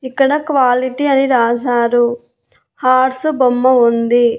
ఇక్కడ క్వాలిటీ అని రాశారు హార్స్ బొమ్మ ఉంది.